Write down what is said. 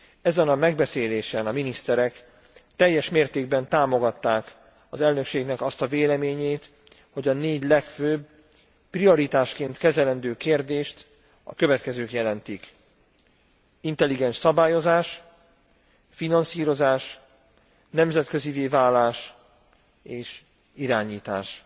Ezen a megbeszélésen a miniszterek teljes mértékben támogatták az elnökségnek azt a véleményét, hogy a négy legfőbb, prioritásként kezelendő kérdést a következők jelentik intelligens szabályozás, finanszírozás, nemzetközivé válás és irányítás.